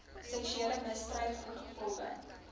seksuele misdryf ingevolge